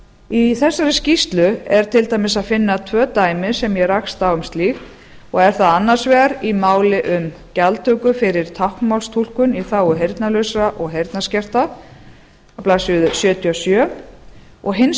í þessari skýrslu er til dæmis að finna tvö dæmi sem ég rakst á um slíkt og er það annars vegar í máli um gjaldtöku fyrir táknmálstúlkun í þágu heyrnarlausra og heyrnarskertra á blaðsíðu sjötíu og sjö og hins